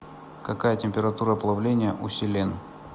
какая температура плавления у селен